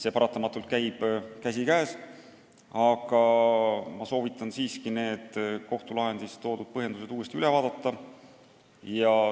Need paratamatult käivad käsikäes, aga ma soovitan siiski need kohtulahendis toodud põhjendused üle vaadata.